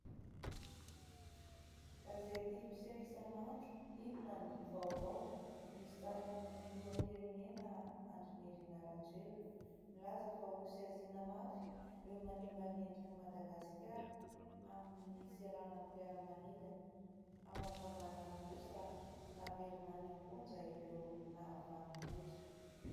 Gazety mpiseho isan'andro "inona ny vaovao" misy sarin'ny filoham-pirenena Andrinirina Rajoelina, nilaza fa ho saziana mafy ireo manimba ny endrik'i Madagasikara amin'ny seranam-piaramanidina. Ao ankavanana kosa, naverina any am-ponja ireo nahavanin-doza.